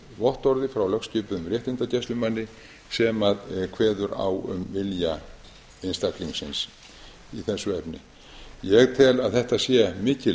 vottorði frá lögskipuðum réttindagæslumanni sem kveður á um vilja einstaklingsins í þessu efni ég tel að þetta sé mikil